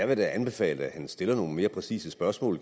da anbefale at han stiller nogle mere præcise spørgsmål